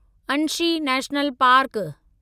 Anshi national park